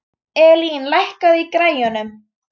Elín, lækkaðu í græjunum.